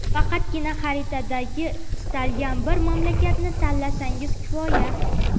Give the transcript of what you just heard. Faqatgina xaritadagi istalgan bir mamlakatni tanlasangiz kifoya.